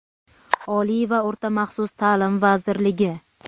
Oliy va o‘rta maxsus ta’lim vazirligi.